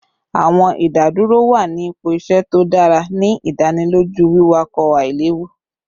Awọn idaduro wa ni ipo iṣẹ to dara, ni idaniloju wiwakọ ailewu